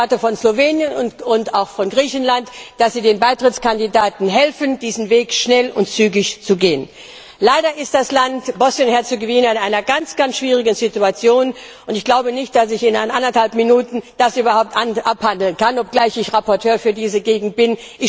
Ich erwarte von Slowenien und auch von Griechenland, dass sie den Beitrittskandidaten helfen, diesen Weg schnell und zügig zu gehen. Leider ist das Land Bosnien und Herzegowina in einer ganz ganz schwierigen Situation, und ich glaube nicht, dass ich das in anderthalb Minuten überhaupt abhandeln kann, obgleich ich Berichterstatterin für diese Region bin.